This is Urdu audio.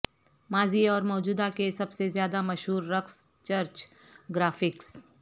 ماضی اور موجودہ کے سب سے زیادہ مشہور رقص چرچ گرافکس